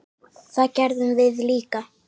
Það gerðum við líka.